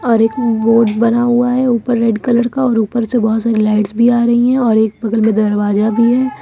और एक बोर्ड बना हुआ है ऊपर रेड कलर का और ऊपर से बहुत सारी लाइट्स भी आ रही है और एक दरवाजा भी है।